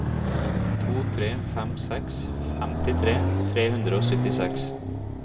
to tre fem seks femtitre tre hundre og syttiseks